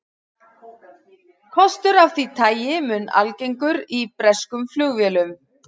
Kostur af því tagi mun algengur í breskum flugvélum.